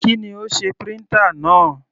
Kí ni ó sé printer náà?